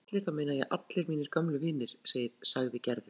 Þegar ég segi allir þá meina ég allir mínir gömlu vinir sagði Gerður.